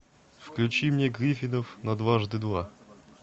включи мне гриффинов на дважды два